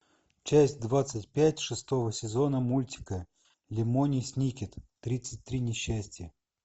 часть двадцать пять шестого сезона мультика лемони сникет тридцать три несчастья